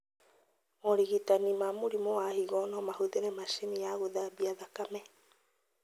Morigitani ma mũrimũ wa higo nomahũthĩre macini ya gũthambia thakame